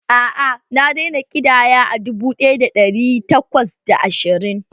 A'a, na daina ƙidaya a dubu ɗaya da ɗari takwas da ashirin